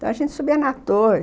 Então, a gente subia na torre.